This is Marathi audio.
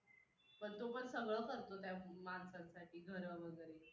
पण तो पण सगळं करतो, त्या माणसासाठी घरं वगैरे.